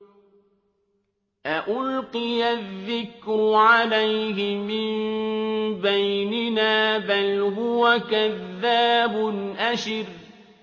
أَأُلْقِيَ الذِّكْرُ عَلَيْهِ مِن بَيْنِنَا بَلْ هُوَ كَذَّابٌ أَشِرٌ